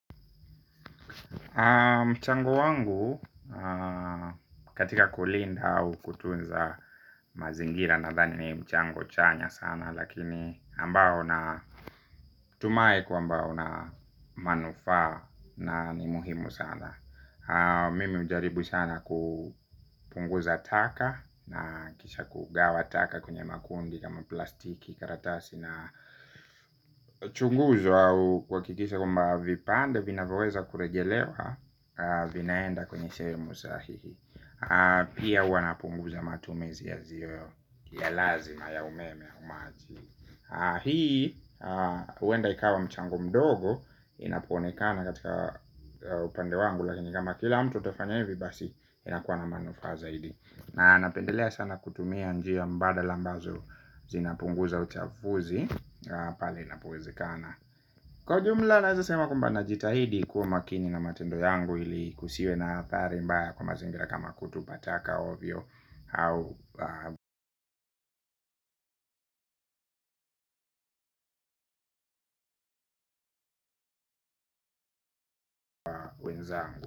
Mchango wangu katika kulinda au kutunza mazingira nadhani ni mchango chanya sana. Lakini ambao na tumai kwamba una manufaa na ni muhimu sana. Mimi hujaribu sana kupunguza taka na kisha kugawa taka kwenye makundi kama plastiki karatasi na chunguzo au kuhakikisha kwamba vipande vinavoweza kurejelewa vinaenda kwenye sehemu sahihi. Pia huwa napunguza matumizi yasiyo ya lazima ya umeme au maji. Hii, huenda ikawa mchango mdogo inapoonekana katika upande wangu. Lakini kama kila mtu atafanya hivi basi inakuwa na manufaa zaidi. Na napendelea sana kutumia njia mbadala ambazo zinapunguza uchafuzi. Kwa jumla naeza sema kwamba najitahidi kuwa makini na matendo yangu ili kusiwe na athari mbaya kwa mazingira kama kutupa taka ovyo. Au wenzangu.